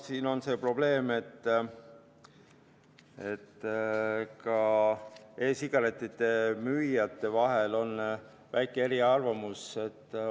Siin on see probleem, et ka e-sigarettide müüjate vahel on väikesed eriarvamused.